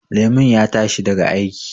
Lemon ya tashi daga aiki